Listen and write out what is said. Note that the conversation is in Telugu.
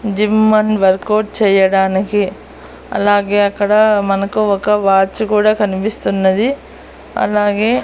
జిమ్ అండ్ వర్కౌట్ చేయడానికి అలాగే అక్కడ మనకు ఒక వాచ్ కూడా కనిపిస్తున్నది అలాగే.